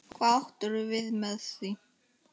Hvað áttirðu við með því?